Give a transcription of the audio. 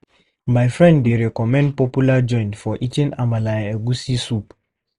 My friend dey recommend popular joint for eating amala and egusi soup.